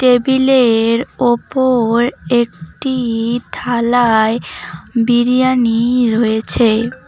টেবিলের ওপর একটি থালায় বিরিয়ানি রয়েছে।